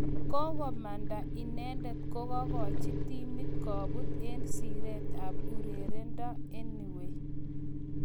Kokomanda inendet kokachi timit koput eng Siret ap urerendo anyway